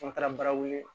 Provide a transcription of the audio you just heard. An taara baara wele